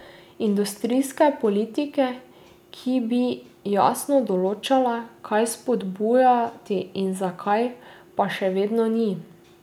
Industrijske politike, ki bi jasno določala, kaj spodbujati in zakaj, pa še vedno ni.